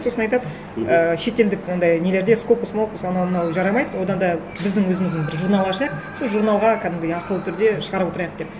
сосын айтады мхм ыыы шетелдік анандай нелерде фокус мокус анау мынау жарамайды одан да біздің өзіміздің бір журнал ашайық сол журналға кәдімгідей ақылы түрде шығарып отырайық деп